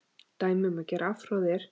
Dæmi um gera afhroð er